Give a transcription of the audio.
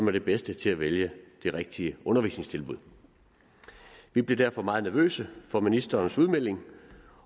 er de bedste til at vælge det rigtige undervisningstilbud vi blev derfor meget nervøse for ministerens udmelding